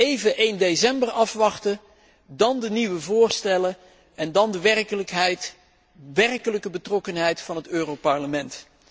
Even 1 december afwachten, dan de nieuwe voorstellen en daarna de werkelijkheid werkelijke betrokkenheid van het Europees Parlement.